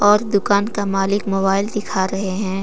और दुकान का मालिक मोबाइल दिखा रहे हैं।